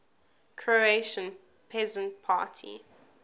croatian peasant party